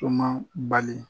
Tun ma bali